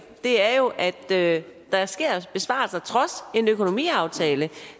er jo at der sker besparelser trods en økonomiaftale